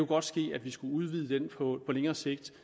godt ske at vi skulle udvide den på længere sigt